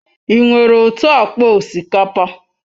Ị nwere otu akpa osikapa?